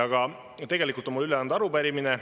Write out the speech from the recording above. Aga tegelikult on mul üle anda arupärimine.